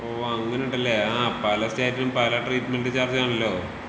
ഓ അങ്ങനെണ്ട്ല്ലെ ആ പല സ്റ്റേറ്റ് ലും പല ട്രീറ്റ് മെന്റ് ചാർജ് ആണല്ലോ